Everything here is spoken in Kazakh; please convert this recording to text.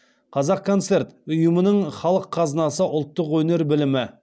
қазақконцерт ұйымының халық қазынасы ұлттық өнер білімі